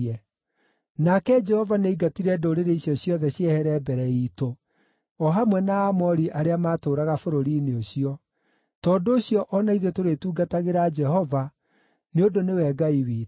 Nake Jehova nĩaingatire ndũrĩrĩ icio ciothe ciehere mbere iitũ, o hamwe na Aamori arĩa maatũũraga bũrũri-inĩ ũcio. Tondũ ũcio o na ithuĩ tũrĩtungatagĩra Jehova, nĩ ũndũ nĩwe Ngai witũ.”